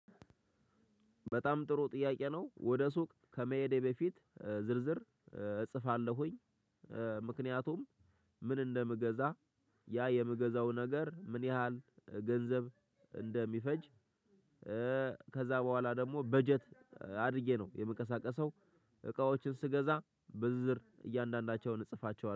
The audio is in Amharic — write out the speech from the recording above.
በጣም ጥሩ ጥያቄ ነው ወደ ሱቅ ከመሄዴ በፊት ዝርዝር እጽፋለሁኝ። እ ምክንያቱም ምን እንደምገዛ ያ የምገዛው ነገር ምን ያህል ገንዘብ እንደሚፈጅ። እ ከዛ በኋላ ደግሞ በጀት አድርጌ ነው የምቀሳቀሰው። እቃዎችን ስገዛ በዝርዝር እያንዳንዳቸውን እጽፋቸዋለሁ